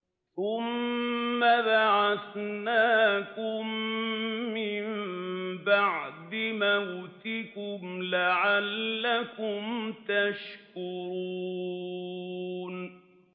ثُمَّ بَعَثْنَاكُم مِّن بَعْدِ مَوْتِكُمْ لَعَلَّكُمْ تَشْكُرُونَ